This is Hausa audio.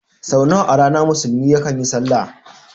Sau nawa a rana musulmi yakan yi sallah?